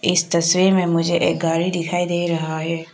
इस तस्वीर में मुझे एक गाड़ी दिखाई दे रहा है।